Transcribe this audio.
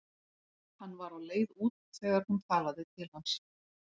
Hann var á leið út þegar hún talaði til hans.